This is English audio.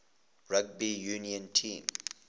rugby union team